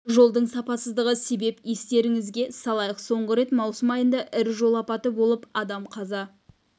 жолдың сапасыздығы себеп естеріңізге салайық соңғы рет маусым айында ірі жол апаты болып адам қаза